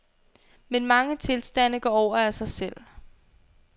Men mange tilstande går over af sig selv.